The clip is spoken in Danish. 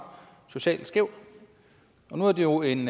socialt skævt og nu var det jo en